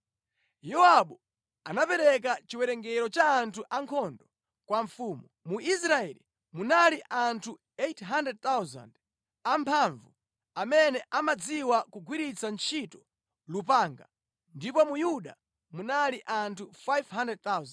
Yowabu anapereka chiwerengero cha anthu ankhondo kwa mfumu: Mu Israeli munali anthu 800,000 amphamvu amene amadziwa kugwiritsa ntchito lupanga ndipo mu Yuda munali anthu 500,000.